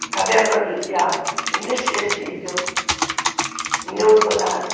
A caverna do diabo, inesquecível, em Eldorado.